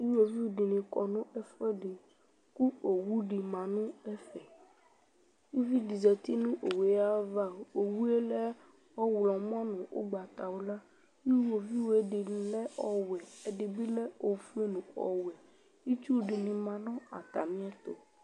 Iɣoviu dɩnɩ kɔ nʋ ɛfʋɛdɩ kʋ owu dɩ ma nʋ ɛfɛ Uvi dɩ zati nʋ owu yɛ ava kʋ owu yɛ lɛ ɔɣlɔmɔ nʋ ʋgbatawla Iɣoviu yɛ dɩ lɛ ɔwɛ, ɛdɩ bɩ lɛ ofue nʋ ɔwɛ Itsu dɩnɩ ma nʋ atamɩɛtʋ